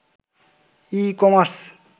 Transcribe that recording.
e-commerce